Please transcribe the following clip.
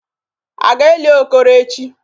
A ga-eli Okoro echi?